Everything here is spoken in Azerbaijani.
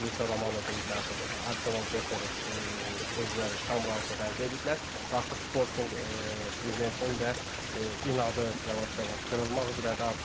Fabri Roma deyib ki, artıq Arsenal Gök Yereş özləri tam razılıq əldə eləyiblər və artıq Sportinq prezidentinin də inadı yavaş-yavaş qırılmaq üzrədir.